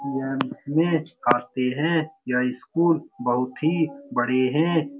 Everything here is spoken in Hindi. ये काफी हैं यह स्कुल बहुत ही बड़े हैं।